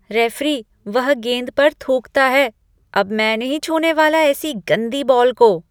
Referee, वह गेंद पर थूकता है। अब मैं नहीं छूने वाला ऐसी गंदी बॉल को।